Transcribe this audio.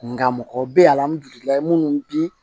Nka mɔgɔ bɛ ye alihamudulilayi minnu bi